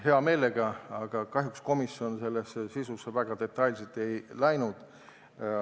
Hea meelega, aga kahjuks komisjon selle sisusse väga detailselt ei läinud.